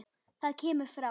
Það kemur frá